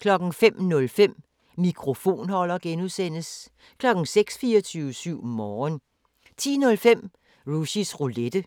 05:05: Mikrofonholder (G) 06:00: 24syv Morgen 10:05: Rushys Roulette